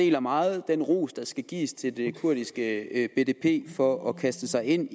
deler meget den ros der skal gives til det kurdiske bdp for at kaste sig ind